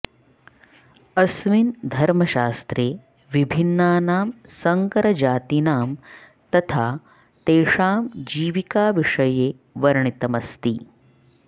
अस्मिन् धर्मशास्त्रे विभिन्नानां सङ्करजातीनां तथा तेषां जीविकाविषये वर्णितमस्ति